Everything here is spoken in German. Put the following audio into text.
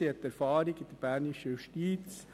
Sie verfügt über Erfahrung in der bernischen Justiz.